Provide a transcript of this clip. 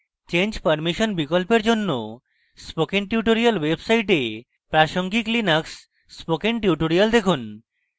change permission বিকল্পের জন্য spoken tutorials website প্রাসঙ্গিক linux spoken tutorials দেখুন